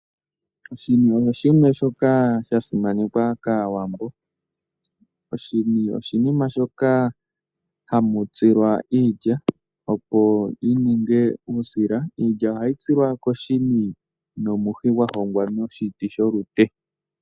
Oshini osho shimwe shoka sha simanekwa kAawambo. Oshini oshinima shoka hamu tsilwa iilya, opo yi ninge uusila. Iilya ohayi tsilwa koshini nomuhi gwa hongwa noshiti sholute.